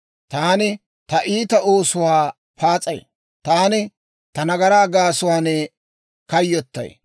Taani ta iita oosuwaa paas'ay; taani ta nagaraa gaasuwaan kayyotay.